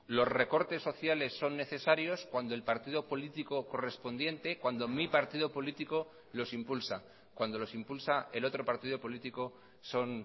los recortes sociales son necesarios cuando el partido político correspondiente cuando mi partido político los impulsa cuando los impulsa el otro partido político son